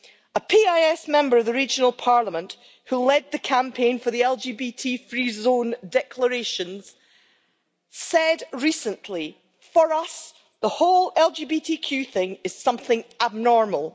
A PiS member of the regional parliament who led the campaign for the LGBT free zone declaration said recently For us, the whole LGBTQ thing is something abnormal.